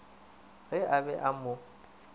ge a be a mo